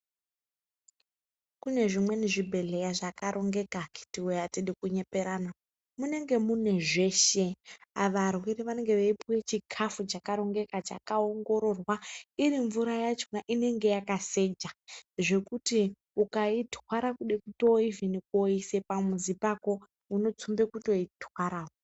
Kune zvimwe zvibhehleya zvakarongeka akiti woye ayidi kunyeperana munenge mune zveshe ava varwere vanenge vachipuwa chikafu chakanaka chakaongororwa iri mvura yakona inenge yakaseja ukaitwara kuda koisa pamuzi pako unotsumba kutoitwara .